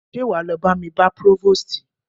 Ṣé wá lọ bá mi bá próvòstì?